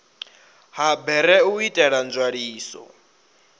ha bere u itela nzwaliso